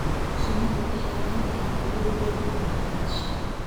Shinnidu waxay leedahay awood weyn oo waxbarasho.